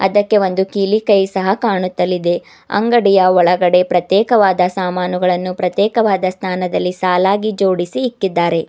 ಅದಕ್ಕೆ ಒಂದು ಕೀಲಿ ಕೈ ಸಹ ಕಾಣುತ್ತಲಿದೆ ಅಂಗಡಿಯ ಒಳಗಡೆ ಪ್ರತ್ಯೇಕವಾದ ಸಾಮಾನುಗಳನ್ನು ಪ್ರತ್ಯೇಕವಾದ ಸ್ಥಾನದಲ್ಲಿ ಸಾಲಾಗಿ ಜೋಡಿಸಿ ಇಕ್ಕಿದ್ದಾರೆ.